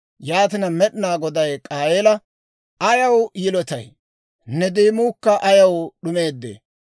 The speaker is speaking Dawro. Yaatina Med'inaa Goday K'aayeela, «Ayaw yilotay? Ne deemuukka ayaw d'umeedee?